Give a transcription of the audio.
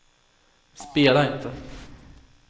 spela inte